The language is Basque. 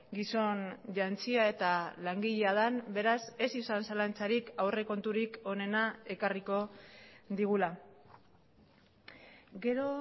gizon jantzia eta langilea den beraz ez izan zalantzarik aurrekonturik onena ekarriko digula gero